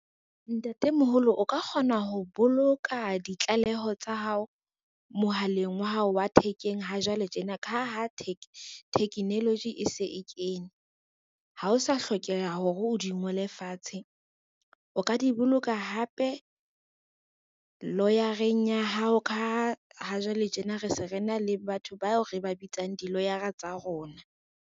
Ntatemoholo o ka kgona ho boloka ditlaleho tsa hao, mohaleng wa hao wa thekeng ha jwale tjena ka ha technology e se e kene, ha o sa hlokeha ya hore o di ngole fatshe. O ka di boloka hape lawyer-eng ya hao ka ha jwale tjena re se re na le batho bao re ba bitsang di-lawyer-a tsa rona.